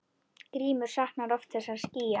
Grímur saknar oft þessara skýja.